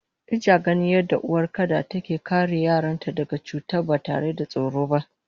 Ijaganin yadda uwar kada take kare yaranta daga cuta batare da tsoro ba